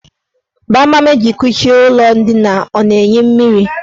Gbamgbam eji kuchie ụlọ ndina ọ na-eyi mmiri?